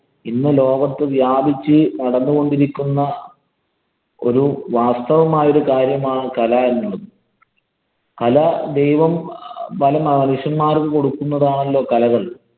ഇന്ന് ലോകത്ത് വ്യാപിച്ചു നടന്നു കൊണ്ടിരിക്കുന്ന ഒരു വാസ്തവമായ കാര്യമാണ് കല എന്നുള്ളത്. കല ദൈവം പല മനുഷ്യന്മാര്‍ക്ക് കൊടുക്കുന്നതാണല്ലോ കലകള്‍.